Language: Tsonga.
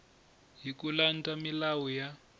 hi ku landza milawu ya